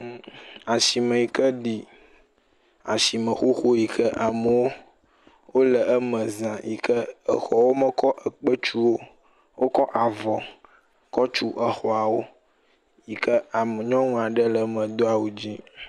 Mm… asime yi ke ɖi asime xoxo yi ke amewo wole eme za yi ke exɔwo mekɔ ekpe tuwo o, wokɔ avɔ kɔ tiu exɔawo yi ke nyɔnu aɖe le eme do awu dzɛ̃